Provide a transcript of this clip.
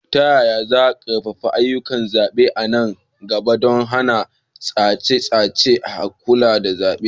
Ta yaya za a ƙarfafa ayyukan zaɓe a nan gaba don hana tashe-tashen hankulan zaɓe?